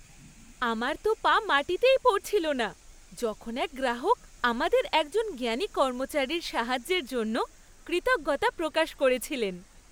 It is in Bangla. আমার তো পা মাটিতেই পড়ছিল না যখন এক গ্রাহক আমাদের একজন জ্ঞানী কর্মচারীর সাহায্যের জন্য কৃতজ্ঞতা প্রকাশ করেছিলেন।